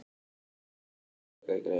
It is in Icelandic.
Sigurfljóð, lækkaðu í græjunum.